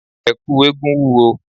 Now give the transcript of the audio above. Ẹ̀kú eégún wúwo.